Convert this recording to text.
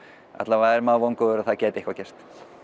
er maður vongóður að það gæti eitthvað gerst